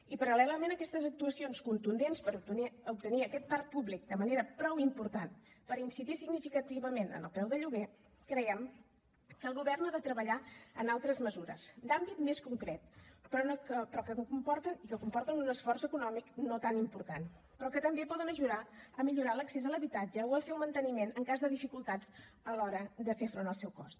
i paral·lelament a aquestes actuacions contundents per obtenir aquest parc públic de manera prou important per incidir significativament en el preu de lloguer creiem que el govern ha de treballar en altres mesures d’àmbit més concret que comporten un esforç econòmic no tan important però que també poden ajudar a millorar l’accés a l’habitatge o al seu manteniment en cas de dificultats a l’hora de fer front al seu cost